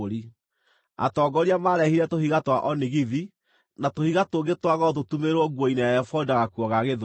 Atongoria marehire tũhiga twa onigithi na tũhiga tũngĩ twa goro tũtumĩrĩrwo nguo-inĩ ya ebodi na gakuo ga gĩthũri.